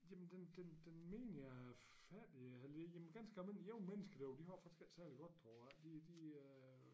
Jamen den den den menige fattige jamen ganske almindelige unge mennesker derovre de har det faktisk ikke særlig godt derovre de de øh